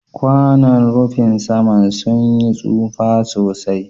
kwanon rufin sama sun yi taufa sosai.